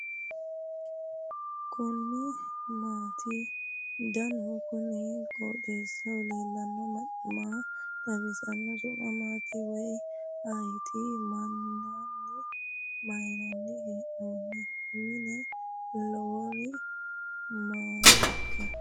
kuni maati ? danu kuni qooxeessaho leellannohu maa xawisanno su'mu maati woy ayeti ? minnanni hee'noonni mine lawannori maatikka ?